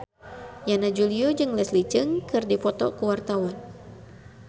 Yana Julio jeung Leslie Cheung keur dipoto ku wartawan